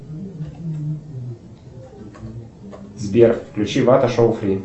сбер включи вата шоу фри